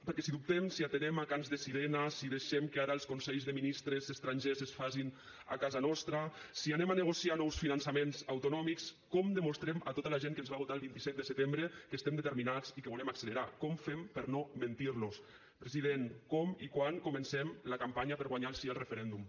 perquè si dubtem si atenem a cants de sirena si deixem que ara els consells de ministres estrangers es facin a casa nostra si anem a negociar nous finançaments autonòmics com demostrem a tota la gent que ens va votar el vint set de setembre que estem determinats i que volem accelerar com fem per no mentir los president com i quan comencem la campanya per guanyar el sí al referèndum